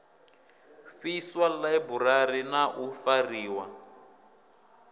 fhiswa ḽaiburari na u fariwa